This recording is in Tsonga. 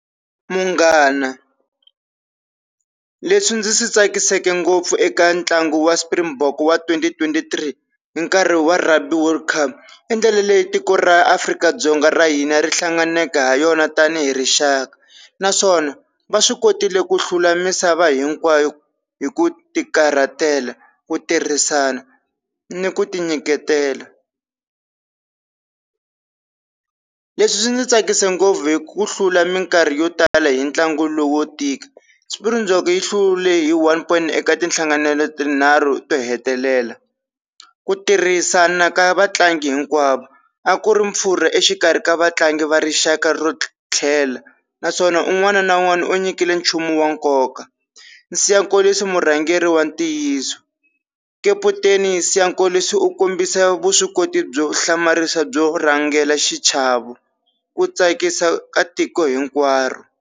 Munghana leswi ndzi swi tsakisaka ngopfu eka ntlangu wa Springbok wa twenty twenty three hi nkarhi wa Rugby World Cup, i ndlela leyi tiko ra Afrika-Dzonga ra hina ri hlanganeke ha yona tanihi rixaka. Naswona va swi kotile ku hlula misava hinkwayo hi ku tikarhatela, ku tirhisana ni ku tinyiketela. Leswi swi ndzi tsakise ngopfu hi ku hlula minkarhi yo tala hi ntlangu lowu wo tika, Springbok yi hlule hi one-point eka tinhlanganelo tinharhu to hetelela, ku tirhisana ka vatlangi hinkwavo a ku ri pfurha exikarhi ka vatlangi va rixaka ro tlhela, naswona un'wana na un'wana u nyikile nchumu wa nkoka. Siya Kolisi murhangeri wa ntiyiso kaputeni Siya Kolisi u kombisa vuswikoti byo hlamarisa byo rhangela xichavo ku tsakisa ka tiko hinkwaro.